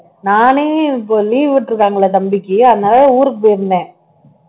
நானே இப்ப leave விட்டுருக்காங்கல்ல தம்பிக்கு அதனால ஊருக்கு போயிருந்தேன்